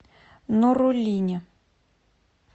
нуруллине